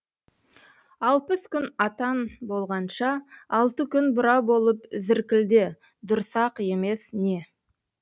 алпыс күн атан болғанша алты күн бұра болып зіркілде дұрыс ақ емес не